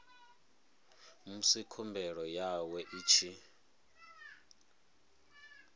musi khumbelo yawe i tshi